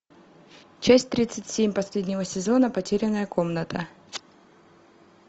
часть тридцать семь последнего сезона потерянная комната